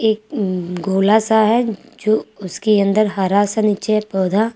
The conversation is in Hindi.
एक गोला सा है जो उसके अंदर हरा सा नीचे है पौधा।